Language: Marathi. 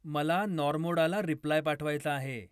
मला नॉर्मोडाला रिप्लाय पाठवायचा आहे